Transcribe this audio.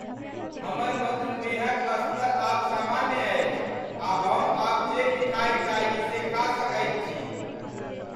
हमर मधुमेहक स्तर आब सामान्य अछि आ हम आब जे मिठाई चाही से खा सकैत छी।